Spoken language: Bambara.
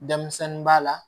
Denmisɛnnin b'a la